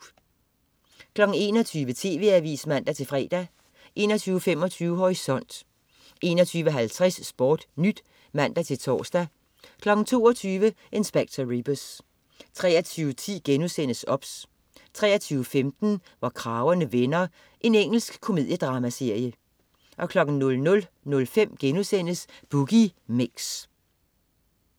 21.00 TV Avisen (man-fre) 21.25 Horisont 21.50 SportNyt (man-tors) 22.00 Inspector Rebus 23.10 OBS* 23.15 Hvor kragerne vender. Engelsk komediedramaserie 00.05 Boogie Mix*